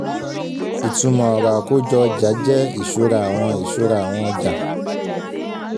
ìtumọ̀ ọ̀rọ̀ àkójọ ọjà jẹ́ ìṣura àwọn ìṣura àwọn ọjà.